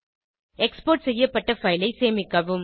export செய்யப்பட்ட file ஐ சேமிக்கவும்